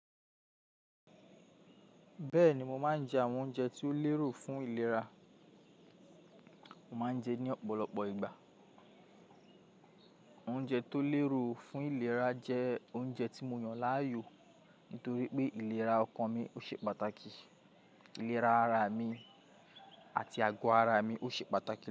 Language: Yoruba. Bẹ́ẹ̀ni mo máa ń jẹ àwọn oúnjẹ ti ó lérò fún ìlera, mo máa ń jẹ ní ọ̀pọ̀lọpọ̀ ìgbà. Oúnjẹ tó lérò fún ìlera jẹ́ oúnjẹ tí mo yàn láàyò nítorí pé ìlera ọkàn mi ó ṣe pàtàkì, ìlera ara mi àti àgọ́ ara mi ó ṣe pàtàkì.